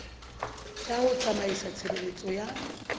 ya ho tsamaisa tshebeletso ya